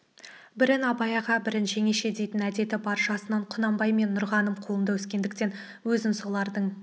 бірін абай аға бірін жеңеше дейтін әдеті бар жасынан құнанбай мен нұрғаным қолында өскендіктен өзін солардың